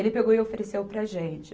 Ele pegou e ofereceu para a gente.